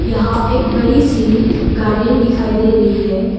यहां एक बड़ी सी गार्डन दिखाई दे रही है।